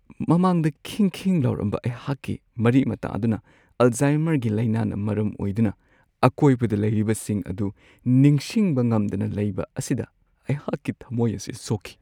ꯃꯃꯥꯡꯗ ꯈꯤꯡ-ꯈꯤꯡ ꯂꯥꯎꯔꯝꯕ ꯑꯩꯍꯥꯛꯀꯤ ꯃꯔꯤ-ꯃꯇꯥ ꯑꯗꯨꯅ ꯑꯜꯖꯥꯏꯃꯔꯒꯤ ꯂꯥꯏꯅꯥꯅ ꯃꯔꯝ ꯑꯣꯏꯗꯨꯅ ꯑꯀꯣꯏꯕꯗ ꯂꯩꯔꯤꯕꯁꯤꯡ ꯑꯗꯨ ꯅꯤꯡꯁꯤꯡꯕ ꯉꯝꯗꯅ ꯂꯩꯕ ꯑꯁꯤꯗ ꯑꯩꯍꯥꯛꯀꯤ ꯊꯝꯃꯣꯏ ꯑꯁꯤ ꯁꯣꯛꯈꯤ ꯫